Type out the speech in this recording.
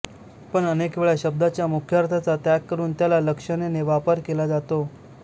पण अनेक वेळा शब्दाच्या मुख्यार्थाचा त्याग करून त्याला लक्षनेने वापर केला जातो